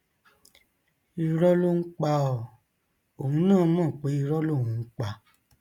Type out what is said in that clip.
irọ ló ń pa ọ òun náà mọ pé irọ lòún ń pa